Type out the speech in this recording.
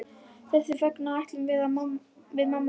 Þess vegna ætlum við mamma að fara heim.